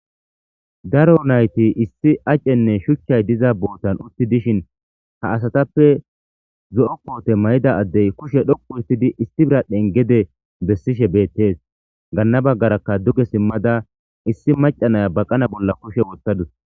Daro nayti issi acenne shuchchay diza bootan utti dishin ha asatappe zo7o poote may7ida addey kushe dhoqu urtidi isti biradhen gede bessishe beettes ganna baggarakka duge simmada issi macanaya baqana bolla kushe wottadus.